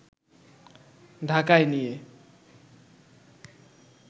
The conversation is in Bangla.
ঢাকায় নিয়ে